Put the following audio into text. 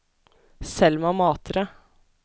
Selma Matre